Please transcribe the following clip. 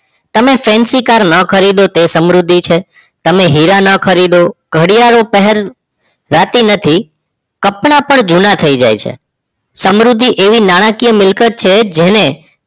તમે fancy car ન ખરીદો એ સમૃદ્ધિ છે તમે હીરો ન ખરીદો ઘડિયાળો પેહરો રાતી નથી કપડાં પણ જુના થઈ જઈ છે સમૃદ્ધિ એવી નાણાંકીય મિલકત છે જેને